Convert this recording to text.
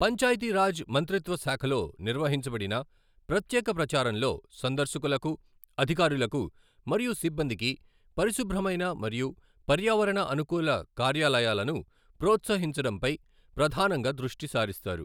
పంచాయితీ రాజ్ మంత్రిత్వ శాఖలో నిర్వహించబడిన ప్రత్యేక ప్రచారంలో సందర్శకులకు, అధికారులకు మరియు సిబ్బందికి పరిశుభ్రమైన మరియు పర్యావరణ అనుకూల కార్యాలయాలను ప్రోత్సహించడంపై ప్రధానంగా దృష్టి సారిస్తారు.